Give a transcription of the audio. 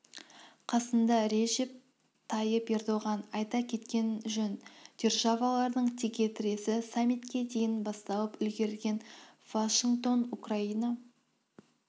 қасында режеп тайып ердоған айта кеткен жөн державалардың текетіресі саммитке дейін басталып үлгерген вашингтон украина